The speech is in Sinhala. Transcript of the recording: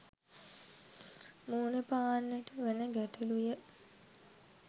මුහුණපාන්නට වන ගැටළු ය.